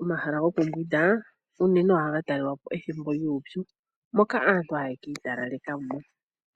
Omahala gokumbwinda unene ohaga talelwapo ethimbo lyuupyu moka aantu haye kiitalaleka mo